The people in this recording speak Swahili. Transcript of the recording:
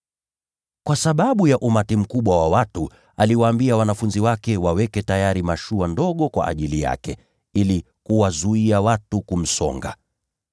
Kwa sababu ya umati mkubwa wa watu, aliwaambia wanafunzi wake waweke tayari mashua ndogo kwa ajili yake, ili kuwazuia watu kumsonga.